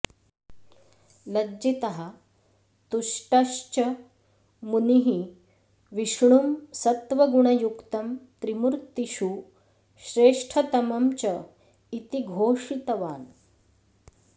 लज्जितः तुष्टश्च मुनिः विष्णुं सत्त्वगुणयुक्तं त्रिमूर्तिषु श्रेष्ठतमं चेति घोषितावान्